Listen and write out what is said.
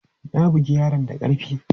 Na bugi yaron da karfi!